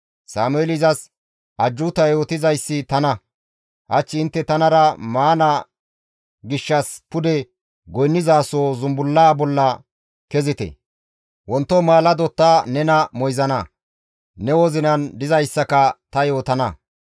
Sameeli izas, «Ajjuuta yootizayssi tana; hach intte tanara maana gishshas pude goynnizasoho zumbullaa bolla kezite; wonto maalado ta nena moyzana; ne wozinan dizayssaka ta yootana.